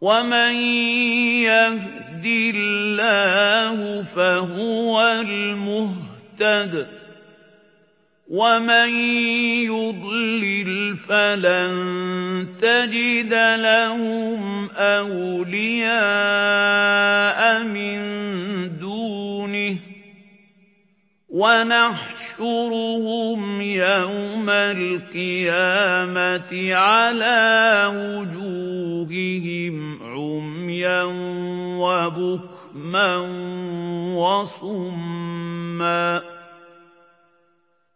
وَمَن يَهْدِ اللَّهُ فَهُوَ الْمُهْتَدِ ۖ وَمَن يُضْلِلْ فَلَن تَجِدَ لَهُمْ أَوْلِيَاءَ مِن دُونِهِ ۖ وَنَحْشُرُهُمْ يَوْمَ الْقِيَامَةِ عَلَىٰ وُجُوهِهِمْ عُمْيًا وَبُكْمًا وَصُمًّا ۖ